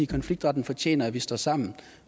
konfliktretten fortjener at vi står sammen